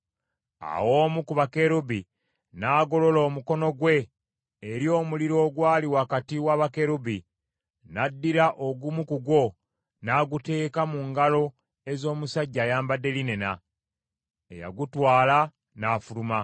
Awo omu ku bakerubi n’agolola omukono gwe eri omuliro ogwali wakati wa bakerubi, n’addira ogumu ku gwo, n’aguteeka mu ngalo ez’omusajja ayambadde linena, eyagutwala n’afuluma.